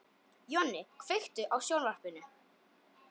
Jonni, kveiktu á sjónvarpinu.